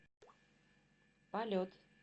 полет